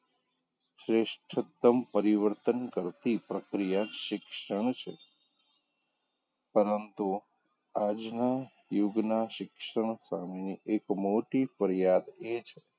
શ્રેષ્ઠતમ પરિવર્તન કરતી પ્રક્રિયા શિક્ષણ છે પરંતુ આજનાં યુગનાં શિક્ષણ સામેની એક મોટી ફરિયાદ એ છે,